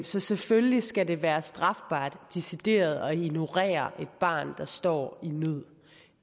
så selvfølgelig skal det være strafbart decideret at ignorere et barn der står